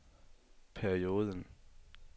perioden